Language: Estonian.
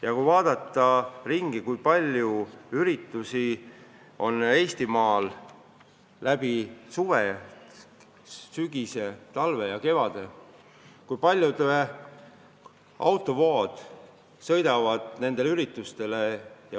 Ja kui vaadata ringi, siis näeme, kui palju üritusi on Eestimaal läbi suve, sügise, talve ja kevade, kui tihedad autovood neile sõidavad.